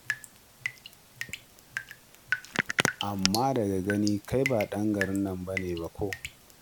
Amma daga gani kai ba ɗan gari ba ne ba ko?